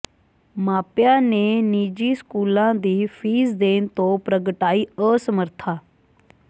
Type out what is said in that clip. ਮਾਪਿਆਂ ਨੇ ਨਿੱਜੀ ਸਕੂਲਾਂ ਦੀ ਫ਼ੀਸ ਦੇਣ ਤੋਂ ਪ੍ਰਗਟਾਈ ਅਸਮਰੱਥਾ